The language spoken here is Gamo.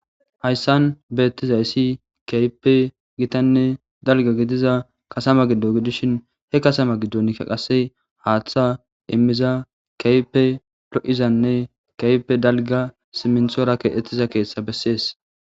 Hayssan beetizayssi keehippe dalgga gidiza kasama giddo gidishin. He kasama qasse haaththa immiza keehippe lo7iznne keehippe dalgga simithora keexetida keeththa besees.